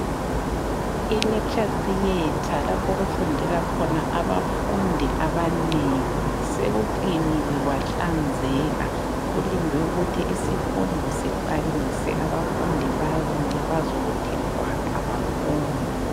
Electure theate lapho okufundela khona abafundi abanengi sekukliniwe kwahlanzeka kulindlwe ukuthi isifundo siqalise abafundi babuye bazokuthi gwaqa bafunde.